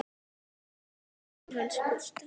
Þarna er kofinn hans Gústa.